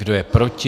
Kdo je proti?